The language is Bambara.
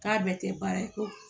K'a bɛɛ tɛ baara ye ko